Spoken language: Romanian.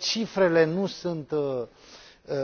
uneori cifrele nu sunt